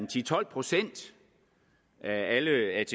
til tolv procent af alle atk